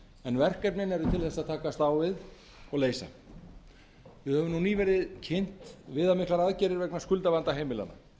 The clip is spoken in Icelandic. en verkefnin eru til þess að takast á við og leysa við höfum nú nýverið kynnt viðamiklar aðgerðir vegna skuldavanda heimilanna